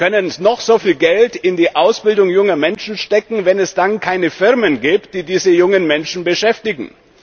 Wir können noch so viel Geld in die Ausbildung junger Menschen stecken, wenn es dann keine Firmen gibt, die diese jungen Menschen beschäftigen.